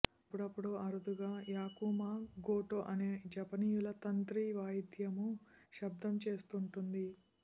అప్పుడప్పుడూ అరుదుగా yakumo goto అనే జపనీయుల తంత్రి వాయిద్యమూ శబ్దం చేస్తుంటుంది